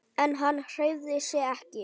En hann hreyfði sig ekki.